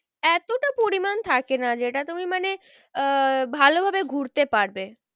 এতটা পরিমান থাকে না যেটা তুমি মানে আহ ভালো ভাবে ঘুরতে পারবে।